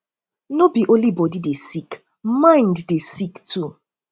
no be only body dey sick mind dey sick too